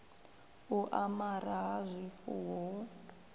u amara ha zwifuwo hu